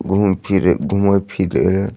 घुम फिर घुमय फीरेय --